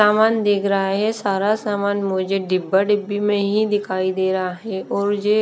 सामान दिख रहा है सारा सामान मुझे डिब्बा डिब्बी में ही दिखाई दे रहा है और ये--